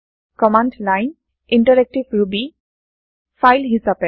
command line interactive Ruby file হিচাপে